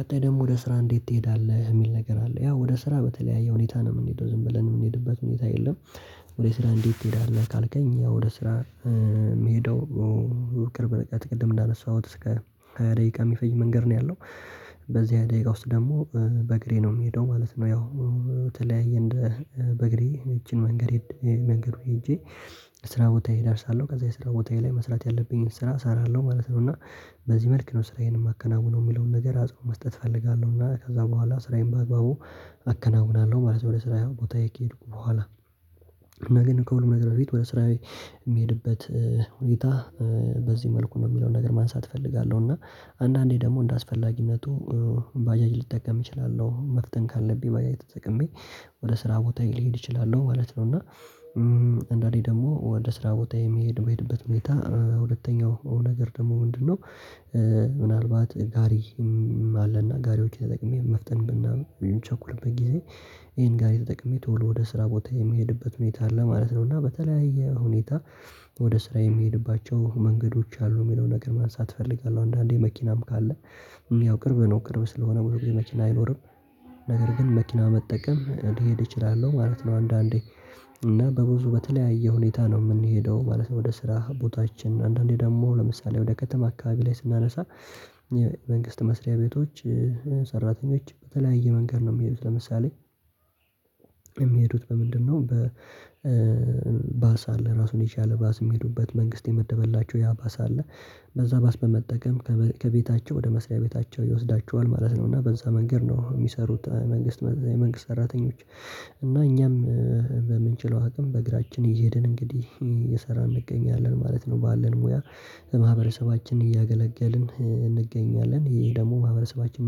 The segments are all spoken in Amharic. ቀጣይ ደግሞ ወደ ስራ እንዴት ትሄዳለህ? የሚል ነገር አለ ያው ወደ ስራ በተለያየ ሁኔታ ነው የምንሄደው ዝም ብለን የምንሄድበት ሁኔታ የለም። ወደ ስራ እንዴት ትሄዳለህ ካልከኝ ያው ወደ ስራ የምሄደው ቅርብ ርቀት ቅድም እንዳነሳሁት እስከ ደቂቃ የሚፈጅ መንገድ ነው ያለው። በዚህ ሃያ ደቂቃ ውስጥ ደግሞ በእግሬ ነው የምሄደው ማለት ነው። ያው በተለያየ እንደ በእግሬ ይቺን መንገድ መንገዱ ሄጄ ስራ ቦታዬ እደርሳለሁ። ከዛ የስራ ቦታዬ ላይ መስራት ያለብኝን ስራ እሰራለሁ ማለት ነው። እና በዚህ መልክ ነው ስራዬን የማከናውነው የሚለውን ነገር አጽንቶ መስጠት እፈልጋለሁ። እና ከዛ በኋላ ስራዬን በአግባቡ አከናውናለሁ ማለት ነው ለስራ ቦታዬ ከሄድኩ በኋላ። እና ግን ከሁሉም ነገር በፊት ወደ ስራዬ የሚሄድበት ሁኔታ በዚህ መልኩ ነው የሚለውን ነገር ማንሳት እፈልጋለሁ። እና አንዳንዴ ደግሞ እንደአስፈላጊነቱ ባጃጅ ልጠቀም እችላለሁ መፍጠን ካለብኝ ባጃጅ ተጠቅሜ ወደ ስራ ቦታየ ልሄድ እችላለሁ ማለት ነው። እና ደግሞ ወደ ስራ ቦታ የሚሄድ በሄድበት ሁኔታ ሁለተኛው ነገር ደግሞ ምንድነው ምናልባት ጋሪም አለና ጋሪዎችን ተጠቅሜ መፍጠን ምናምን ቸኩልበት ጊዜ ይሄን ጋሪ የተጠቀመኝ ቶሎ ወደ ስራ ቦታ የሚሄድበት ሁኔታ አለ ማለት ነው። እና በተለያየ ሁኔታ ወደ ስራ የሚሄድባቸው መንገዶች አሉ የሚለውን ነገር ማንሳት እፈልጋለሁ። አንዳንዴ መኪናም ካለ ያው ቅርብ ነው ቅርብ ስለሆነ ብዙ ጊዜ መኪና አይኖርም ነገር ግን መኪና በመጠቀም ልሄድ እችላለሁ ማለት ነው አንዳንዴ። እና በብዙ በተለያየ ሁኔታ ነው የምንሄደው ማለት ነው ወደ ስራ ቦታችን። አንዳንዴ ደግሞ ለምሳሌ ወደ ከተማ አካባቢ ላይ ስናነሳ የመንግስት መስሪያ ቤቶች ሰራተኞች በተለያየ መንገድ ነው የሚሄዱት። ለምሳሌ የሚሄዱት በምንድነው በ በባሳ አለ ራሱን የቻለ ባስ የሚሄዱበት መንግስት የመደበላቸው ያ ባስ አለ በዛ ባስ በመጠቀም ከቤታቸው ወደ መስሪያ ቤታቸው ይወስዳቸዋል ማለት ነው። እና በዛ መንገድ ነው የሚሰሩት መንግስት መንግስት ሰራተኞች። እና እኛም በምንችለው አቅም በእግራችን እሄድን እንግዲህ እየሰራን እንገኛለን ማለት ነው። ባለን ሙያ ማህበረሰባችንን እያገለገልን እንገኛለን ይሄ ደግሞ ማህበረሰባችንን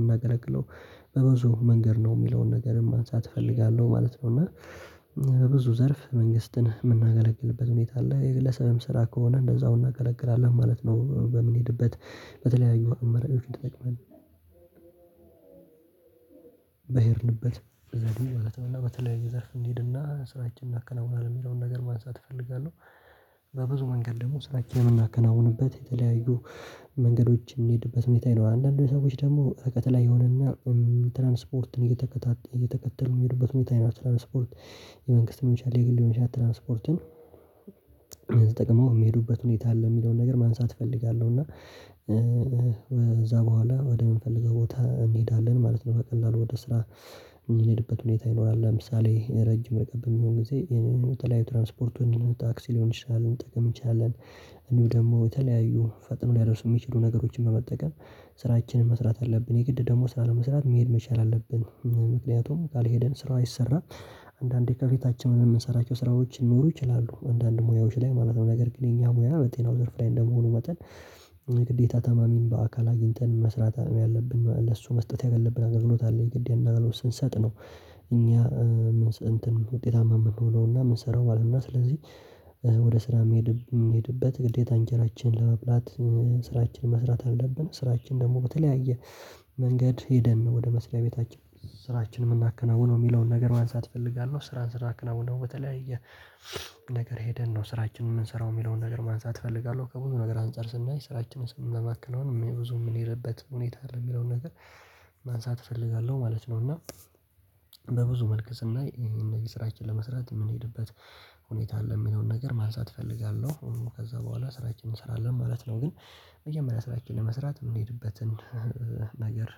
የምናገለግለው በብዙ መንገድ ነው የሚለውን ነገር ማንሳት እፈልጋለሁ ማለት ነው። እና በብዙ ዘርፍ መንግስትን የምናገለግልበት ሁኔታ አለ። የግለሰብም ስራ ከሆነ እንደዛው እናገለግላለን ማለት ነው። በምንሄድበት በተለያዩ አማራጮችን ተጠቅመን በሄድንበት ዘዴ ማለት ነው። እና በተለያየ ዘርፍ እንሂድና ስራችንን እናከናውናለን የሚለውን ነገር ማንሳት እፈልጋለሁ በብዙ መንገድ ደግሞ ስራ የምናከናውንበት የተለያዩ መንገዶች የምሄድበት ሁኔታ ይኖራል። አንዳንዶች ስዎች ደግሞ ርቀት ላይ የሆነና ትራንስፖርትን እየተከታተ እየተከተሉ የሚሄዱበት ሁኔታ ይኖራል። ትራንስፖርት የመንግስት ሊሆን ይችላል፣ የግል ሊሆን ይችላል። ትራንስፖርትን ተጠቅመው የሚሄዱበት ሁኔታ አለ የሚለውን ነገር ማንሳት እፈልጋለሁ። እና እዛ በኋላ ወደ ወደምንፈልገው ቦታ እንሄዳለን ማለት ነው። በቀላሉ ወደ ስራ የምንሄድበት ሁኔታ ይኖራል። ለምሳሌ ረጅም ርቀት በሚሆን ጊዜ ይሄንን የተለያዩ ትራንስፖርቱን ታክሲ ሊሆን ይችላል ልንጠቀም እንችላለን እንዲሁም ደግሞ የተለያዩ ፈጥኖ ሊያደርሱ የሚችሉ ነገሮችን በመጠቀም ስራችንን መስራት አለብን። የግድ ደግሞ ስራ ለመስራት መሄድ መቻል አለብን። ምክንያቱም ካልሄድን ስራ አይሰራም። አንዳንዴ ከፊታችን የምንሰራቸው ስራዎች ሊኖሩ ይችላሉ አንዳንድ ሙያዎች ላይ ማለት ነው። ነገር ግን የኛ ሙያ በጤናው ዘርፍ ላይ እንደመሆኑ መጠን ግዴታ ታማሚን በአካል አግኝተን መስራት ያለብን፣ ለሱ መስጠት ያለብን አገልግሎት አለ። የግድ ያንን አገልግሎት ስንሰጥ ነው እኛ መንስኤ እንት ውጤታማ የምንሆነውና የምንሰራው ማለት ነው። እና ስለዚህ ወደ ስራ ምሄድ ምንሄድበት ግዴታ እንጀራችን ለመብላት ስራችን መስራት አለብን። ስራችን ደግሞ በተለያየ መንገድ ሄደን ወደ መስሪያ ቤታችን ስራችን የምናከናውነው የሚለውን ነገር ማንሳት እፈልጋለሁ። ስራን ስራ ስናከውነው በተለይ ነገር ሄደን ነው ስራችንን የምንሰራው የሚለውን ነገር ማንሳት እፈልጋለሁ። ከሁሉም ነገር አንፃር ስናይ ስራችንን ስንመማከነው ብዙ የምንሄድበት ሁኔታ አለ የሚለውን ነገር ማንሳት እፈልጋለሁ ማለት ነው። እና በብዙ መልክ ስናይ ይሄን ስራችን ለመስራት የምንሄድበት ሁኔታ አለ ሚለውን ነገር ማልሳት እፈልጋለሁ። ከዛ በኋላ ስራችንን እንሰራለን ማለት ነው። ግን መጀመሪያ ስራችን ለመስራት የምንሄድበትን ነገር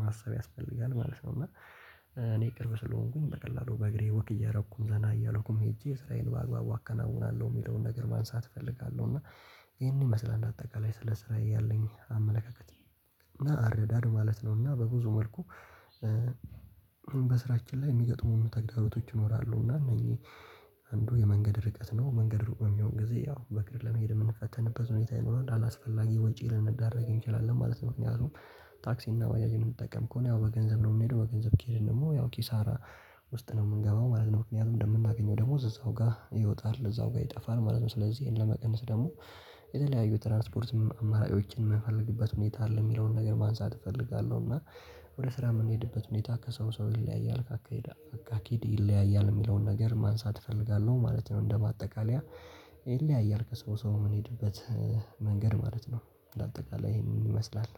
ማሰብ ያስፈልጋል ማለት ነው። እና እኔ ቅርብ ስለሆንኩኝ በቀላሉ በእግሬ ወክ እያደረኩኝ ዘና እያለኩኝ ሄጄ ስራዬን በአግባቡ አከናውናለሁ የሚለውን ነገር ማንሳት እፈልጋለሁ። እና ይሄንን ይመስላል አጠቃላይ ስለ ስራዬ ያለኝ አመለካከት እና አረዳድ ማለት ነው። እና በብዙ መልኩ በስራችን ላይ የሚገጥሙን ተግዳሮቶች ይኖራሉ እና እነኝህ አንዱ የመንገድ ርቀት ነው መንገድ ሩቅ በሚሆን ጊዜ ያው በእግር ለመሄድ የምንፈተንበት ሁኔታ ይኖራል፣ አላስፈላጊ ወጪ ልንዳረግ እንችላለን ማለት ነው። ምክንያቱም ታክሲ እና ባጃጅ የምንጠቀም ከሆነ ያው በገንዘብ ነው የምንሄደው በገንዘብ ከሄድን ደግሞ ያው ኪሳራ ውስጥ ነው የምንገባው ማለት ነው። ምክንያቱም እንደምናገኘው ደሞዝ እዛው ጋር ይወጣል፣ እዛው ጋር ይጠፋል ማለት ነው። ስለዚህ ይሄን ለመቀነስ ደግሞ የተለያዩ ትራንስፖርት አማራጮችን የምንፈልግበት ሁኔታ አለ የሚለውን ነገር ማንሳት እፈልጋለሁ። እና ወደ ስራ የምንሄድበት ሁኔታ ከሰው ሰው ይለያያል ከአካሄድ አኪድ ይለያያል የሚለውን ነገር ማንሳት እፈልጋለሁ ማለት ነው። እንደ ማጠቃለያ ይለያያል ከሰው ሰው የምንሄድበት መንገድ ማለት ነው። እንደ አጠቃላይ ይሄን ይመስላል።